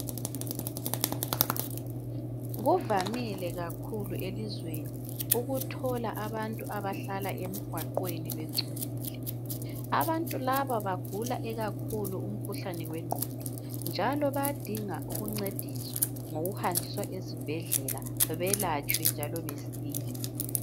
Kuvamile kakhulu elizweni ukuthola abantu abahlala emgwaqweni bengcolile, abantu laba bagula ikakhulu umkhuhlane wengqondo njalo bayadinga ukuncediswa ngokuhanjiswa ezibhedlela belatshwe njalo besile.